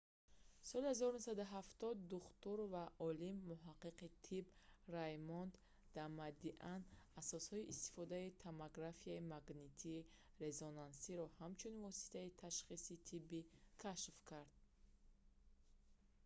соли 1970 духтур ва олим-муҳаққиқи тиб раймонд дамадиан асосҳои истифодаи томографияи магнитии резонансиро ҳамчун воситаи ташхиси тиббӣ кашф кард